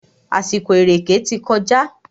Àsìkò ìrèkè ti kọjá.